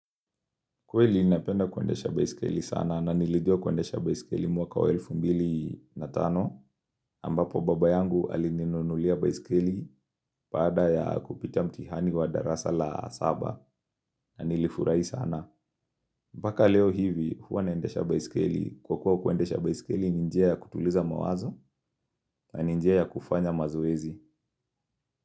Kweli ninapenda kuendesha baisikeli sana na nilijua kuendesha baisikeli mwaka wa elfu mbili na tano ambapo baba yangu alininunulia baisikeli baada ya kupita mtihani wa darasa la saba na nilifurahi sana. Mpaka leo hivi huwa naendesha baisikeli kwa kuwa kuendesha baisikeli ninjia ya kutuliza mawazo na ninjia ya kufanya mazoezi.